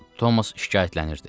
Tomas şikayətlənirdi.